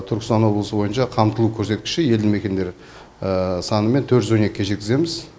түркістан облысы бойынша қамтылу көрсеткіші елді мекендер санымен төрт жүз он екіге жеткіземіз